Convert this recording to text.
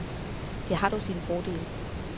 Det har dog sine fordele.